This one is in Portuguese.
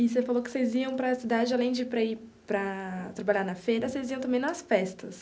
E você falou que vocês iam para a cidade, além de para ir para trabalhar na feira, vocês iam também nas festas.